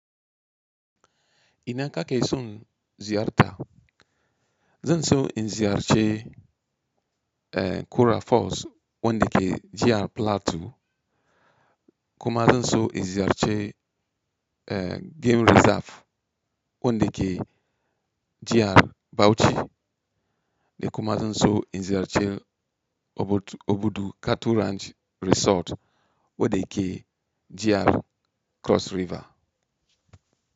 Ina ka ke son ziyarta? Zan so in ziyarce eh Kura Falls wanda ke jihar Plateau, kuma zan so in ziyarci eh Game Reserve wanda ke jihar Bauchi, da kuma zan so in ziyarci obudu-obudu Cattle Ranch Resort wanda yake jihar Cross River.